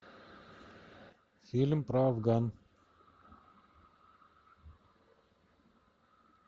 фильм про афган